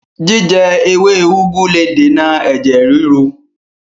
Jíjẹ ewé úgú le dènà ẹ̀jẹ̀ ríru